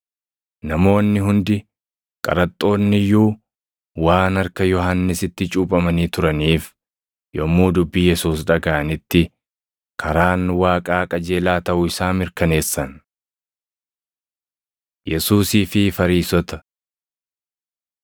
Namoonni hundi, qaraxxoonni iyyuu waan harka Yohannisitti cuuphamanii turaniif yommuu dubbii Yesuus dhagaʼanitti, karaan Waaqaa qajeelaa taʼuu isaa mirkaneessan. Yesuusii fi Fariisota